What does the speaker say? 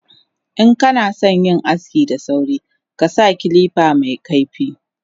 Inkanasan yin aski da sauri kasa kilifa mekaifi